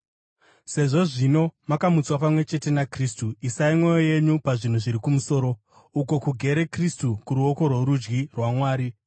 Sezvo, zvino, makamutswa pamwe chete naKristu, isai mwoyo yenyu pazvinhu zviri kumusoro, uko kugere Kristu kuruoko rworudyi rwaMwari.